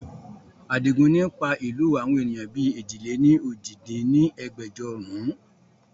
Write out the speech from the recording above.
Adigun ni pa ìlú àwọn ènìyàn bí èjì-lé-ní-ojì dín ní ẹgbẹ́jọ run